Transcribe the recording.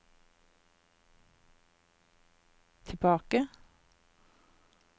tilbake